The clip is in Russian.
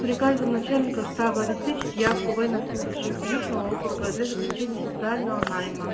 приказом начальника штаба обеспечить явку военнослужащих южного округа для заключения социального найма